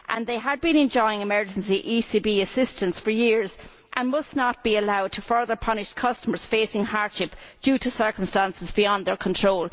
They had been enjoying emergency ECB assistance for years and must not be allowed to further punish customers facing hardship due to circumstances beyond their control.